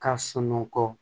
Ka sunɔgɔ